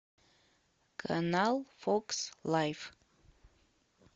канал фокс лайф